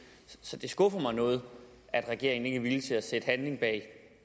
så det skuffer mig noget at regeringen ikke er villig til at sætte handling bag